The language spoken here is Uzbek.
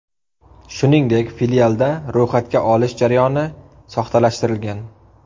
Shuningdek, filialda ro‘yxatga olish jarayoni soxtalashtirilgan.